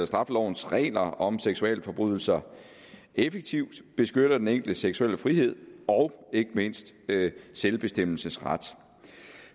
straffelovens regler om seksualforbrydelser effektivt beskytter den enkeltes seksuelle frihed og ikke mindst selvbestemmelsesret